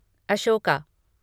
Ashoka